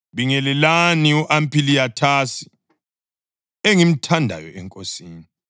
Bingelelani u-Ampiliyathasi, engimthandayo eNkosini.